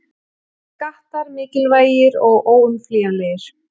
Skattar mikilvægir og óumflýjanlegir